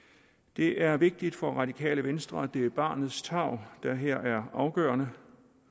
det er vigtigt for radikale venstre at det er barnets tarv der her er afgørende